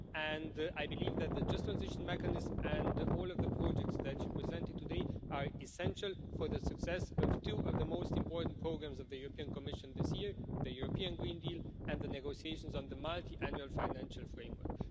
And I believe that the Just Transition Mechanism and all of the projects that you presented today are essential for the success of two of the most important programmes of the European Commission this year the European Green Deal and the negotiations on the Multiannual Financial Framework.